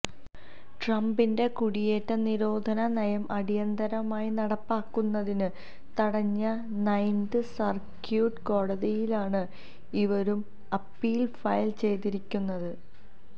ട്രംപിന്റെ കുടിയേറ്റ നിരോധന നയം അടിയന്തരമായി നടപ്പാക്കുന്നത് തടഞ്ഞ നൈന്ത് സര്ക്യൂട്ട് കോടതിയിലാണ് ഇവരും അപ്പീല് ഫയല് ചെയ്തിരിക്കുന്നത്